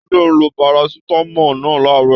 Tade lo parasítámọ̀ náà laarọ.